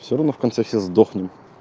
все равно в конце все сдохнем